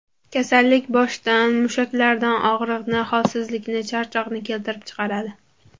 Kasallik boshda, mushaklarda og‘riqni, holsizlikni, charchoqni keltirib chiqaradi.